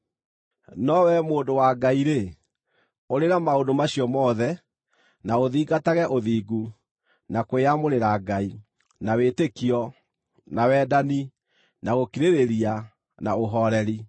No wee mũndũ wa Ngai-rĩ, ũrĩra maũndũ macio mothe, na ũthingatage ũthingu, na kwĩyamũrĩra Ngai, na wĩtĩkio, na wendani, na gũkirĩrĩria, na ũhooreri.